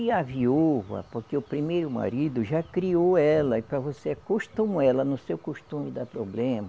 E a viúva, porque o primeiro marido já criou ela, e para você acostumar ela no seu costume dá problema,